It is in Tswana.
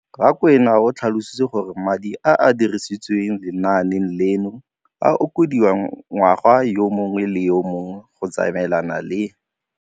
Rakwena o tlhalositse gore madi a a dirisediwang lenaane leno a okediwa ngwaga yo mongwe le yo mongwe go tsamaelana le.